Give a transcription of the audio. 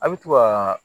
A' bɛ to ka